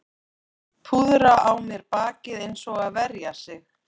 Púðra á mér bakið eins og að verja sig